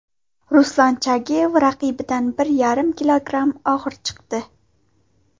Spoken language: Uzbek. Ruslan Chagayev raqibidan bir yarim kilogramm og‘ir chiqdi.